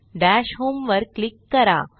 दश होम वर क्लिक करा